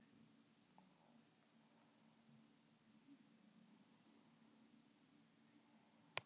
Hann er mjög hættulegur.